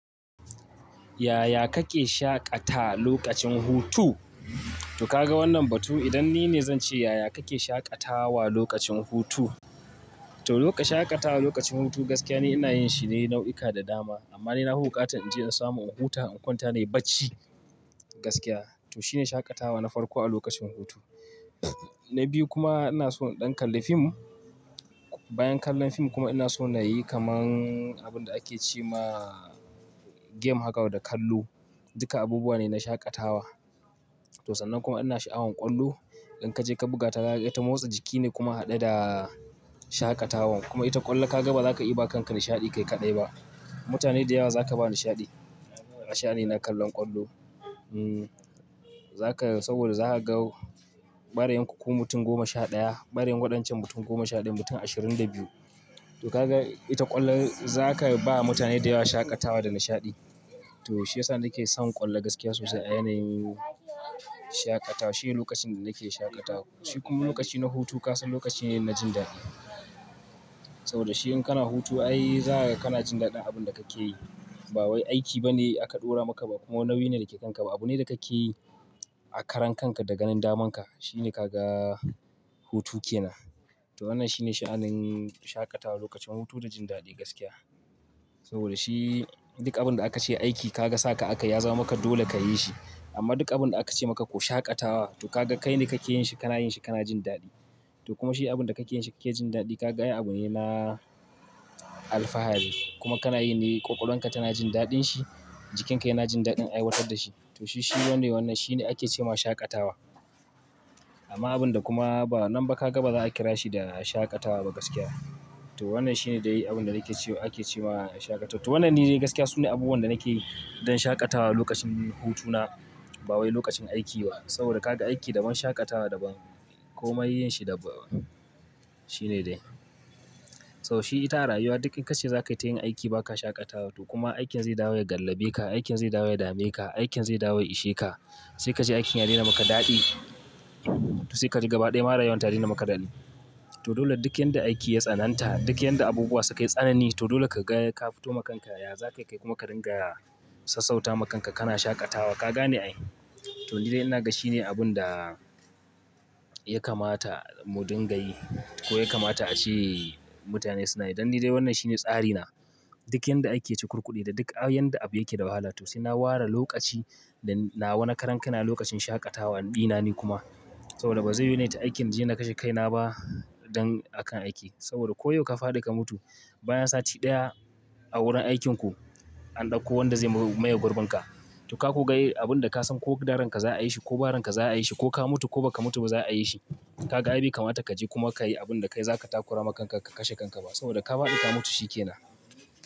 Yaya kake shaƙatawa lokacin hutu? To ka ga wannan batu idan ni ne zan ce yaya kake shaƙatawa lokacin hutu. To lokacin shaƙatawa lokacin hutu gaskiya ni ina yin shi ne nau'ika da dama amma ni nafi buƙa tan in je in samu in huta in kwanta nayi bacci gaskiya. To shine shaƙatawa na farko a lokacin hutu. Na biyu kuma ina so in ɗan kalli fim, bayan kallon fim kuma ina so na yi kamar abin da ake ce ma game haka da kallo. Duka abubuwa ne na shaƙatawa. To sannan kuma ina sha'awan ƙwallo. In ka je ka buga ta, ita motsa jiki ne kuma haɗe da shaƙatawan kuma ita ƙwallo ka ga ba za ka iya ba kanka nishaɗi kai kaɗai ba. Mutane da yawa za ka ba nishaɗi. Nishaɗi na kallon ƙwallo. Hmm, za ka, saboda za ka ga ɓarayin ku mutum goma sha ɗaya, ɓarayin waɗancan mutum goma sha ɗaya, mutum ashirin da biyu. To ka ga ita ƙwallon za ka ba mutane da yawa shaƙatawa da nishaɗi. To shi ya sa nake son ƙwallo gaskiya sosai a yanayin shaƙatawa. Shi ne lokacin da nake shaƙatawa. Shi kuma lokaci na hutu ka san lokaci ne na jin daɗi. Saboda shi in kana hutu ai za ka, kana jin daɗin abin da kake yi. Ba wai aiki ba ne aka ɗora maka ba kuma nauyi ne da yake kan ka ba. Abune da kake yi a karan kanka da ganin daman ka. Shi ne ka ga hutu ke nan. To wannan shine sha'anin shaƙatawa lokacin hutu da jin daɗi gaskiya. Saboda shi duk abin da aka ce aiki ka ga sake aka yi ya zama maka dole ka yi shi. Amma duk abin da aka ce maka ko shaƙatawa to ka ga kai ne kake yin shi kana yin shi kana jin daɗi. To kuma shi abin da kake yin shi yake jin daɗi ka ga abu ne na alfahari kuma kana yi ne ƙwaƙwalon ka tana jin daɗin shi, jikin ka yana jin daɗin aiwatar da shi. To shi, shi wanda wannan shine ake ce ma shaƙatawa. Amma abin da kuma ba nan ba ka ga ba za a kira shi da shaƙatawa ba gaskiya. To wannan shi ne dai abin da ake ce ake ce ma shaƙatawa. To wannan ni ne gaskiya su ne abubuwan da nake yi don shaƙatawa lokacin hutuna ba wai lokacin aiki ba. Saboda ka ga aiki daban, shaƙatawa daban. Koma yin shi daban. Shi ne dai. Saboda shi ita a rayuwa duk in ka ce za ka yi ta yin aiki ba ka shaƙatawa to kuma aikin zai dawo ya gallabe ka, aikin zai dawo ya dame ka, aikin zai dawo ya ishe ka. Sai ka je aikin ya daina maka daɗi. To sai ka ji gaba ɗaya ma ra yuwan ta daina yi maka daɗi. To dole duk yanda aiki ya tsananta, duk yadda abubuwa su kai tsanani to dole ka ga ka fito ma kanka yaza kai kai kuma ka dinga sassauta ma kanka kana shaƙatawa ka gane ai. To ni dai ina ga shi ne abin da ya kamata mu dinga yi ko ya kamata a ce mutane suna yi. Dan ni dai wannan shi ne tsari na. Duk yanda ake ci kurkude da duk yadda abu yake da wahala to sai na ware lokaci da nawa na karan kaina lokacin shaƙatawa ɗina ni kuma. Saboda ba zai yiwu nai ta aikin da zan kashe kaina ba don akan aiki. Saboda koyaushe ka faɗi ka mutu bayan sati ɗaya a wurin aikinku an ɗauko wanda zai maye gurbinka. To ka ku ga abin da ka san ko gadaranka za a yi shi ko baran ka za a yi shi ko ka mutu ko ba ka mutu ba za a yi shi. Ka ga abin ya kamata ka je kuma ka yi abin da kai za ka takura ma kanka ka kashe kanka ba. Saboda ka faɗi ka mutu shi ke nan.